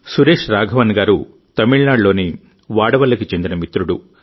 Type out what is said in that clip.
సురేష్ రాఘవన్ గారు తమిళనాడులోని వాడవల్లికి చెందిన మిత్రుడు